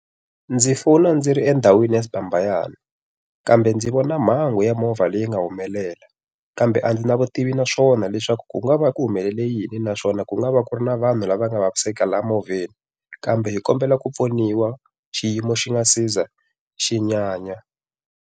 Ndzi fona ndzi ri endhawini ya Sibambayane. Kambe ndzi vona mhangu ya movha leyi nga humelela, kambe a ndzi na vutivi na swona leswaku ku nga va ku humelele yini na swona ku nga va ku ri na vanhu lava nga vaviseka laha movheni. Kambe hi kombela ku pfuniwa xiyimo xi nga si za xi nyanya.